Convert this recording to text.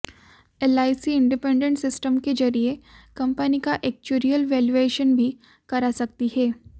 LIC independent system के जरिए company का एक्चुरियल वैल्यूएशन भी करा सकती है